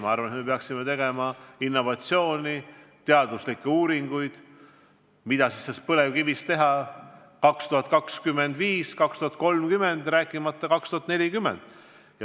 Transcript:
Ma arvan, et me peaksime silmas pidama innovatsiooni, toetama teadusuuringuid, mida põlevkiviga teha aastail 2025–2030 ja ka aastal 2040.